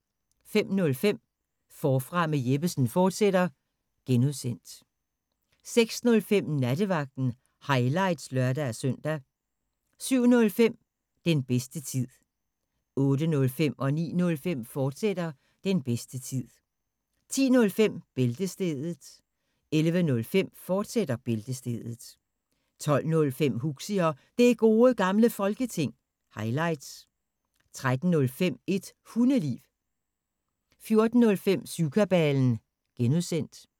05:05: Forfra med Jeppesen fortsat (G) 06:05: Nattevagten – highlights (lør-søn) 07:05: Den bedste tid 08:05: Den bedste tid, fortsat 09:05: Den bedste tid, fortsat 10:05: Bæltestedet 11:05: Bæltestedet, fortsat 12:05: Huxi og Det Gode Gamle Folketing – highlights 13:05: Et Hundeliv 14:05: Syvkabalen (G)